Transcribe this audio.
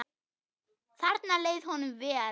Þarna leið honum vel.